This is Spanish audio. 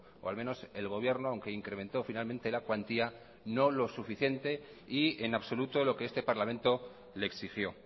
o al menos el gobierno aunque incrementó finalmente la cuantía no lo suficiente y en absoluto lo que este parlamento le exigió